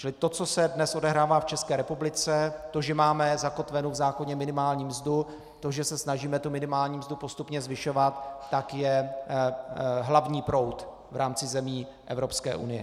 Čili to, co se dnes odehrává v České republice, to, že máme zakotvenu v zákoně minimální mzdu, to, že se snažíme tu minimální mzdu postupně zvyšovat, tak je hlavní proud v rámci zemí Evropské unie.